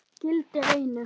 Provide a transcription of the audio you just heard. Gildir einu.